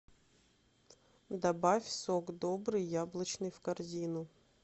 добавь сок добрый яблочный в корзину